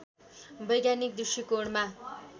वैज्ञानिक दृष्टिकोणमा